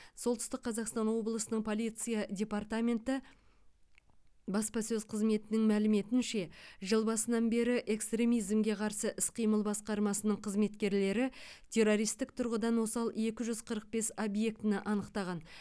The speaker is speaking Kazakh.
солтүстік қазақстан облысының полиция департаменті баспасөз қызметінің мәліметінше жыл басынан бері экстремизмге қарсы іс қимыл басқармасының қызметкерлері террористік тұрғыдан осал екі жүз қырық бес объектіні анықтаған